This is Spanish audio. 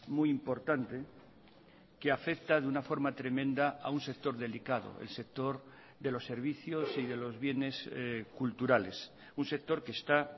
muy importante que afecta de una forma tremenda a un sector delicado el sector de los servicios y de los bienes culturales un sector que está